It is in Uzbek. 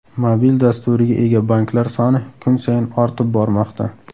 Mobil dasturiga ega banklar soni kun sayin ortib bormoqda.